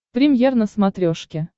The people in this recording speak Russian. премьер на смотрешке